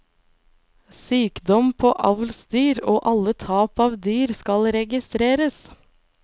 Sykdom på avlsdyr og alle tap av dyr skal registreres.